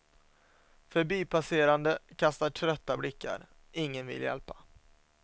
Förbipasserande kastar trötta blickar, ingen vill hjälpa.